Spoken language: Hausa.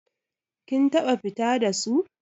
Kin taɓa fita da su?